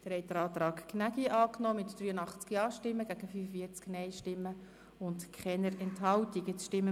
Sie haben den Antrag Gnägi mit 83 Ja- gegen 45-Nein-Stimmen bei keiner Enthaltung angenommen.